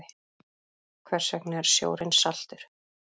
Hvers vegna er sjórinn saltur?